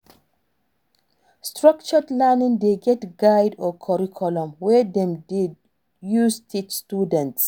structured learning de get guide or curriculum wey dem de use teach students